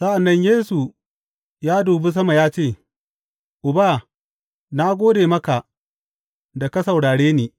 Sa’an nan Yesu ya dubi sama ya ce, Uba, na gode maka da ka saurare ni.